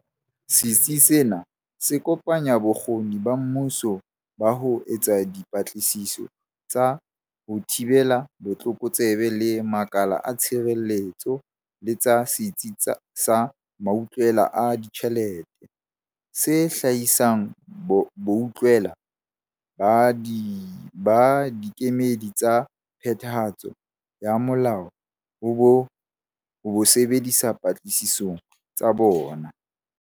Setsi sena se kopanya bokgoni ba mmuso ba ho etsa dipatlisiso tsa ho thibela botlokotsebe le makala a tshireletso le tsa Setsi sa Mautlwela a Ditjhelete, se hlahisang boutlwela ba dikemedi tsa phethahatso ya molao ho bo sebedisa patlisisong tsa tsona.